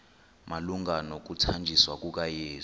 malunga nokuthanjiswa kukayesu